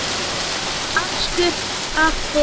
askur af þyrni